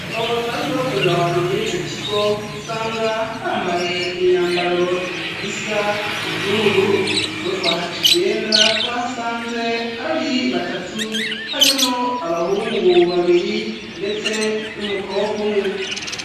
Abo basanzwe bakorera aho hantu muri ico kigo usanga bambaye imyambaro isa n'ubururu ubwo twahagenda twahasanze hari batatu harimwo abahungu babiri ndetse n'umukobwa umwe